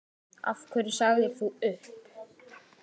Af hverju sagðir þú upp?